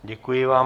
Děkuji vám.